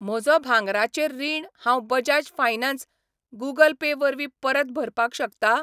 म्हजो भांगराचेर रीण हांव बजाज फायनान्स त गूगल पे वरवीं परत भरपाक शकता?